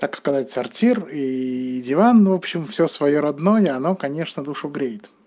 так сказать туалет и диван в общем всё своё родное оно конечно душу греет